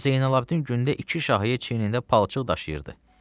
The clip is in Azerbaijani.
Hacı Zeynalabdin gündə iki şahiyə çiynində palçıq daşıyırdı.